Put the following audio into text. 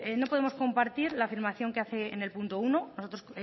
no podemos compartir la afirmación que hace en el punto uno nosotros